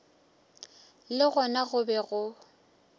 le gona go be go